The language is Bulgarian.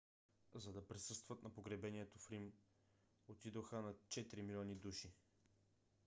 за да присъстват на погребението в рим отидоха над четири милиона души